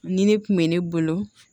Nin ne kun bɛ ne bolo